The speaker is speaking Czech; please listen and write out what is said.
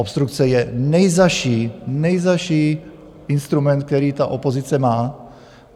Obstrukce je nejzazší, nejzazší instrument, který ta opozice má.